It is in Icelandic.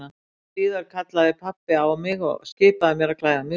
Litlu síðar kallaði pabbi á mig og skipaði mér að klæða mig úr.